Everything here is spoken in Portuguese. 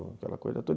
Aquela coisa toda.